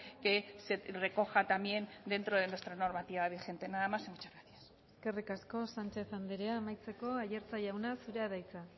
que se recoja también dentro de nuestra normativa vigente nada más y muchas gracias eskerrik asko sánchez andrea amaitzeko aiartza jauna zurea da hitza